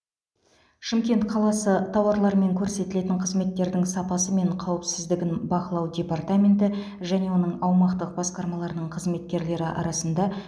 шымкент қаласы тауарлар мен көрсетілетін қызметтердің сапасы мен қауіпсіздігін бақылау департаменті және оның аумақтық басқармаларының қызметкерлері арасында